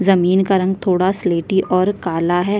जमीन का रंग थोड़ा स्लिटी और काला है।